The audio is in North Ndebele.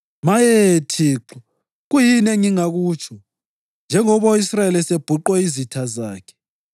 Maye, Thixo kuyini engingakutsho, njengoba u-Israyeli esebhuqwe yizitha zakhe?